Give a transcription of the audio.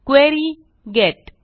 query gate